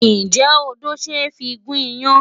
Ǹjẹ́ odó ṣe é fi gún iyán?